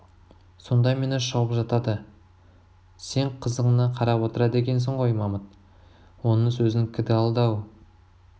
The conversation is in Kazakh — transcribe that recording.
сонда мені шауып жатады сен қызығына қарап отырады екенсің ғой мамыт оның сөзін кіді алды ау